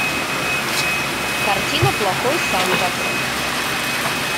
картина плохой санта